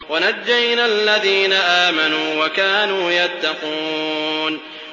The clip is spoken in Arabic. وَنَجَّيْنَا الَّذِينَ آمَنُوا وَكَانُوا يَتَّقُونَ